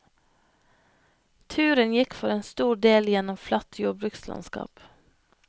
Turen gikk for en stor del gjennom flatt jordbrukslandskap.